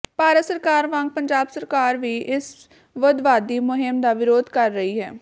ਭਾਰਤ ਸਰਕਾਰ ਵਾਂਗ ਪੰਜਾਬ ਸਰਕਾਰ ਵੀ ਇਸ ਵੱਖਵਾਦੀ ਮੁਹਿੰਮ ਦਾ ਵਿਰੋਧ ਕਰ ਰਹੀ ਹੈ